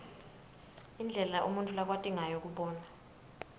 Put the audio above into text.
indlela umuntfu lakwati ngayo kubona